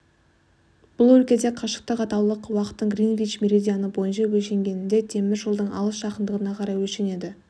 бұл өлкеде қашықтық атаулы уақыттың гринвич меридианы бойынша өлшенгеніндей темір жолдың алыс-жақындығына қарай өлшенеді